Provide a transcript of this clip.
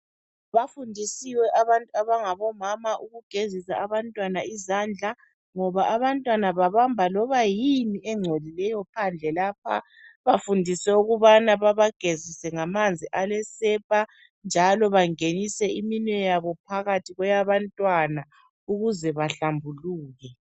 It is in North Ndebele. Bafundisiwe abantu abangabomama ukugezisa abantwana izandla. Ngoba abantwana babamba loba yini engcolileyo phande lapha, bafundise ukubana babagezise ngamanzi alesepa njalo bangenise iminwe yabo phakathi kweyabantwana ukuze bahlambuluke.